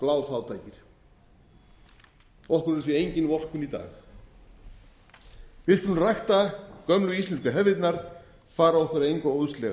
af bláfátækir okkur er því engin vorkunn í dag við skulum rækta gömlu íslensku hefðirnar fara okkur að engu óðslega